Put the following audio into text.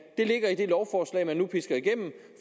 ligger i det lovforslag man nu pisker igennem